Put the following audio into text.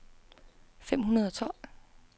fem hundrede og tolv